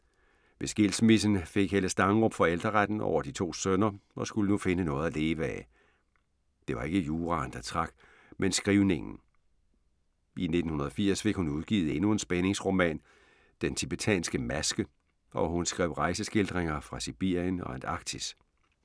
Ved skilsmissen fik Helle Stangerup forældreretten over de to sønner og skulle nu finde noget at leve af. Det var ikke juraen, der trak, men skrivningen. I 1980 fik hun udgivet endnu en spændingsroman, Den tibetanske maske, og hun skrev rejseskildringer fra Sibirien og Antarktis.